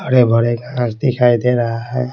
बड़े बड़े घास दिखाई दे रहा है।